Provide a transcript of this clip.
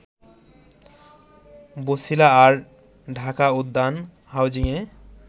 বছিলা আর ঢাকা উদ্যান হাউজিংয়ে